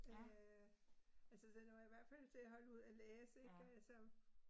Øh altså den var i hvert fald til at holde ud at læse ik altså